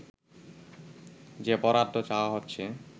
যে বরাদ্দ চাওয়া হচ্ছে